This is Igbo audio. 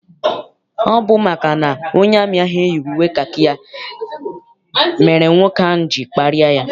Ọ bụ maka na onye amị ahụ eyighị uwe kakị ya mere nwoke ahụ ji kparịa ya.